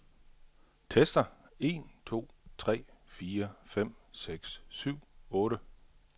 Tester en to tre fire fem seks syv otte.